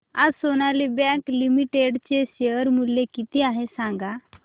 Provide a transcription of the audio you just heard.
आज Sonali bank limited चे share मूल्य किती आहे सांगा